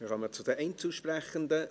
Wir kommen zu den Einzelsprechenden.